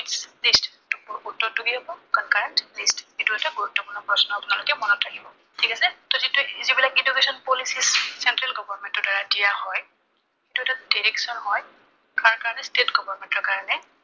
উত্তৰটো কি হব, concurrent list এইটো এটা গুৰুত্বপূৰ্ণ প্ৰশ্ন। আপোনালোকে মনত ৰাাখিব, ঠিক আছো। যিটো এইবিলাক education policy center government ৰ দ্বাৰা দিয়া হয়, সেইটা এটা direction হয়, কাৰ কাৰণে state government ৰ কাৰণে।